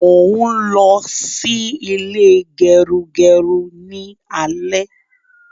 Mo n lọ sí ilé gerugeru ni alẹ́